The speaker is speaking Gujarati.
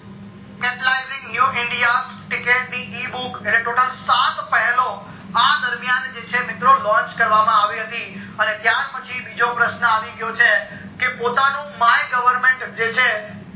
capitalizing new india એટલે total સાત પહેલો આ દરિમયાન જે છે મિત્રો launch કરવામાં આવી હતી અને ત્યાર પછી બીજો પ્રશન આવી ગયો છે કે પોતાનું my government જે છે